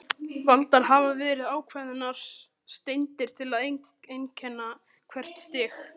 Valdar hafa verið ákveðnar steindir til að einkenna hvert stig.